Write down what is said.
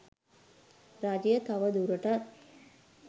රජය තව දුරටත්